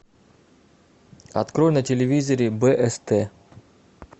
открой на телевизоре бст